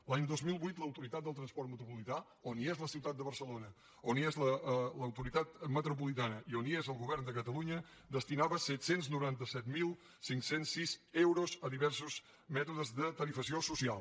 l’any dos mil vuit l’autoritat del transport metropolità on hi ha la ciutat de barcelona on hi ha l’àrea metropolitana i on hi ha el govern de catalunya destinava set cents i noranta set mil cinc cents i sis euros a diversos mètodes de tarifació social